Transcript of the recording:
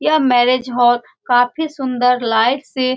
यह marriage hall काफी सुन्दर लाइट से --